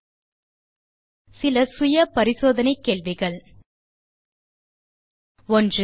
சுய சோதனைக்கு தீர்வு காண சில கேள்விகள் 1